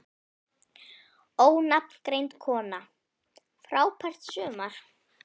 Ónafngreind kona: Frábært sumar?